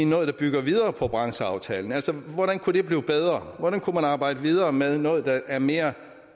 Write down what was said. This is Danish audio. noget der bygger videre på brancheaftalen altså hvordan kunne det blive bedre hvordan kunne man arbejde videre med noget der er mere